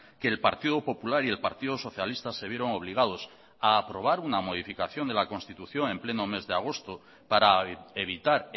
que el partido popular y el partido socialista se vieron obligados a aprobar una modificación de la constitución en pleno mes de agosto para evitar